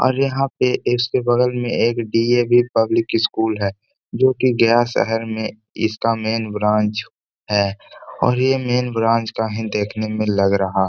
और यहाँ पे इसके बगल में एक डी.ऐ.वी. पब्लिक स्कूल है जोकि गया शहर में इसका मैंन ब्रांच है और यह मैंन ब्रांच का ही देखने में लग रहा।